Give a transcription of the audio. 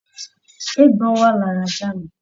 Eégbọn wà lára ajá mi